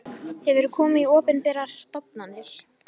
Hefurðu komið í opinberar stofnanir?